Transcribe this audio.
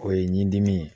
O ye ɲin dimi ye